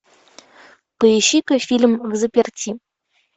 поищи ка фильм взаперти